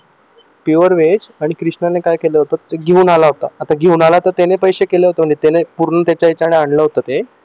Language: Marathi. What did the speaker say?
pure veg आणि कृष्णाने काय केलं होत घेऊन आला होता आता घेऊन आला तर त्याने पैसे केले होते तर म्हणे पूर्ण त्याच्यासाठी आणलं होत ते